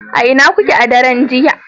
a ina kuke a daren jiya